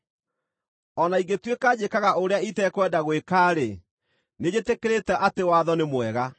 O na ingĩtuĩka njĩkaga ũrĩa itekwenda gwĩka-rĩ, nĩnjĩtĩkĩrĩte atĩ watho nĩ mwega.